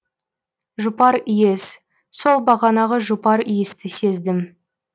жұпар иіс сол бағанағы жұпар иісті сездім